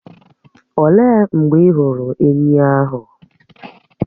Òlee mgbe ị hụrụ ènyị́ ahụ?